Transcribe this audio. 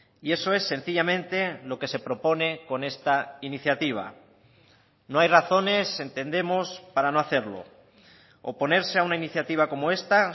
y eso es sencillamente lo que se propone con esta iniciativa no hay razones entendemos para no hacerlo oponerse a una iniciativa como esta